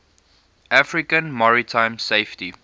african maritime safety